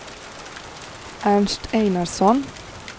Ernst Einarsson